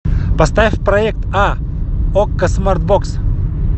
поставь проект а окко смарт бокс